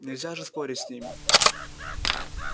нельзя же спорить с ними